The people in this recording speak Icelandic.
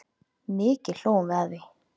Mikið hlógum við að því.